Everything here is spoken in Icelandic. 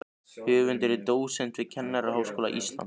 Höfundur er dósent við Kennaraháskóla Íslands.